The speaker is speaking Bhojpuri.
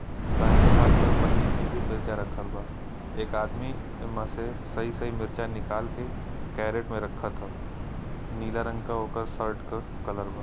दाहिने हाँथ पर पन्नी में भी मिर्चा रखल बा। एक आदमी एमा से सई सही मिर्चा निकाल के कैरट में रखत ह। नीला रंग क ओकर शर्ट क कलर बा।